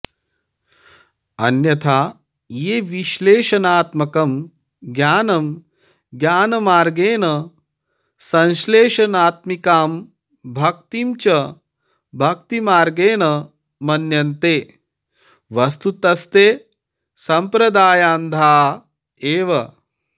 अन्यथा ये विश्लेषणात्मकं ज्ञानं ज्ञानमार्गेण संश्लेषणात्मिकां भक्तिं च भक्तिमार्गेण मन्यन्ते वस्तुतस्ते संप्रदायान्धा एव